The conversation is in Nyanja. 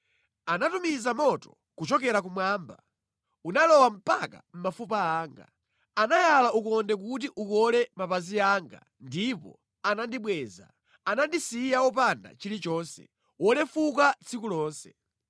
“Anatumiza moto kuchokera kumwamba, unalowa mpaka mʼmafupa anga. Anayala ukonde kuti ukole mapazi anga ndipo anandibweza. Anandisiya wopanda chilichonse, wolefuka tsiku lonse.